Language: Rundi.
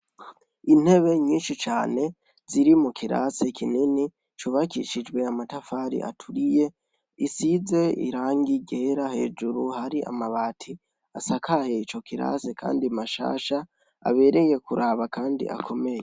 Intebe nyinshi cane ziri mukirase kinini, cubakishijwe amatafari aturiye, isize irangi ryera hejuru hari amabati asakaye ico kirasi, kandi mashasha ,abereye kuraba kandi akomeye.